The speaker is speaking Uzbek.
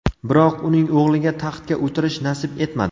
Biroq uning o‘g‘liga taxtga o‘tirish nasib etmadi.